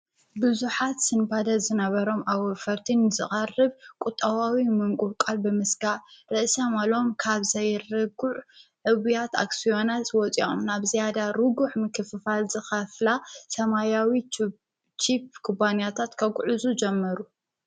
ብዙሓት ስንጳደ ዝነበሮም ኣውፈርቲ ንዝቐርብ ቊጠባዊ ምንጕዕቃል ብምስጋእ ርእሰ-ማሎም ካብ ዘይርጕዕ ዕቡያት ኣክስዮናት ዝወፂኦም ናብዝያዳ ርጉእ ምክፍፋል ዝኸፍላ ሰማያዊ ቺኘ ክባንያታት ከጕዕዙ ጀመሩ፡፡